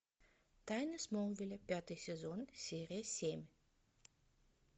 тайны смолвиля пятый сезон серия семь